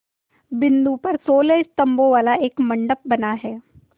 बिंदु पर सोलह स्तंभों वाला एक मंडप बना है